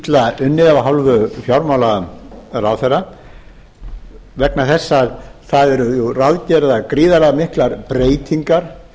er frumvarpið óvenjuilla unnið af hálfu fjármálaráðherra vegna þess að það eru ráðgerðar gríðarlega miklar breytingar